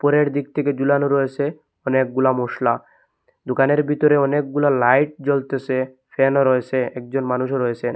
ওপরের দিক থেকে জুলানো রয়েসে অনেকগুলা মশলা দোকানের বিতরে অনেকগুলা লাইট জ্বলতেছে ফ্যানও রয়েসে একজন মানুষও রয়েসেন ।